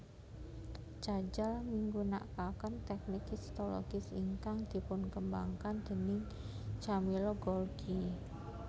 Cajal migunakaken téknik histologis ingkang dipunkembangaken déning Camillo Golgi